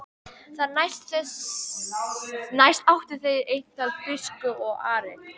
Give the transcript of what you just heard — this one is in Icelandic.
Þar næst áttu þeir eintal biskup og Ari.